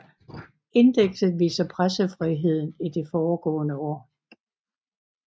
Indekset viser pressefriheden i det foregående år